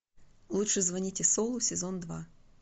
лучше звоните солу сезон два